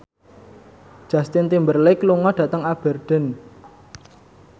Justin Timberlake lunga dhateng Aberdeen